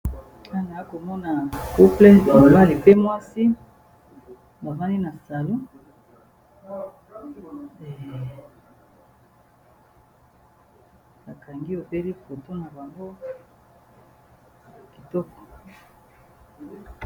Awa nazomona couple, mobali pe mwasi, bafandi na salon, bakangi obele foto na bango kitoko.